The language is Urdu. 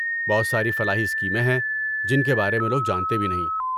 بہت ساری فلاحی اسکیمیں ہیں جن کے بارے میں لوگ جانتے بھی نہیں۔